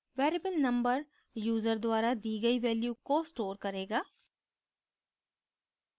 variable number user द्वारा the गई value को store करेगा